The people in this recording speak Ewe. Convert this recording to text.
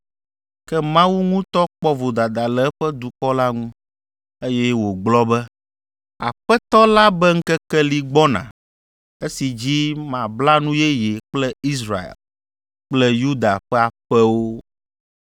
Ke Mawu ŋutɔ kpɔ vodada le eƒe dukɔ la ŋu, eye wògblɔ be, “Aƒetɔ la be ŋkeke li gbɔna esi dzi mabla nu yeye kple Israel kple Yuda ƒe aƒewo.